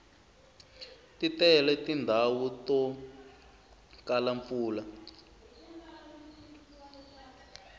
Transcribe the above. ti tele tindhawu to kala mpfula